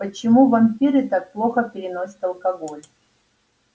почему вампиры так плохо переносят алкоголь